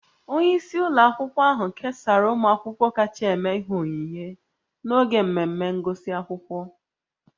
Onye isi ụlọ akwụkwọ ahụ kesara ụmụ akwụkwọ kacha eme ihe onyinye n'oge mmemme ngụsị akwụkwọ